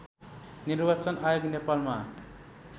निर्वाचन आयोग नेपालमा